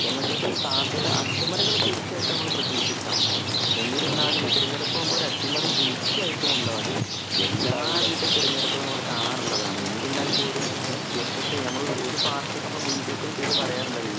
എംഎസ്എഫിന് സാധ്യത അട്ടിമറികൾ തീർച്ചയായിട്ടും നമുക്ക് പ്രതീക്ഷിക്കാം. എന്നിരുന്നാലും തിരഞ്ഞെടുപ്പ് ആവുമ്പോൾ ഒരു അട്ടിമറി തീർച്ചയായിട്ടും ഉണ്ടാവും. എല്ലാവിധ തിരഞ്ഞെടുപ്പുകളും നമ്മൾകാണാറുള്ളതാണ്.എന്നിരുന്നാൽ പോലുംഎസ് എഫ് ഐ ഒരു പാർട്ടിക്ക് നമ്മൾ മുൻതൂക്കം ചെയ്ത് പറയാറുണ്ടല്ലോ ഈ പാർട്ടി-